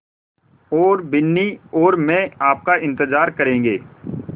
और बिन्नी और मैं आपका इन्तज़ार करेंगे